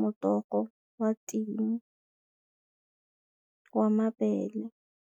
morogo wa ting wa mabele.